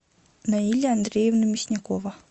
наиля андреевна мясникова